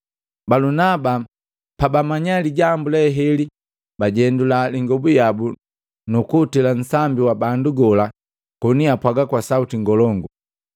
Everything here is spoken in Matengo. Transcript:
Balunaba pamu na Pauli, pabamanya lijambu leheli bajendula ingobu yabu nukutili kunsambi wa bandu gola koni apwaga kwa sauti ngolongu: